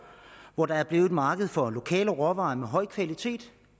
hvor der er blevet et marked for lokale råvarer med høj kvalitet